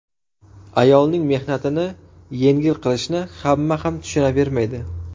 Ayolning mehnatini yengil qilishni hamma ham tushunavermaydi.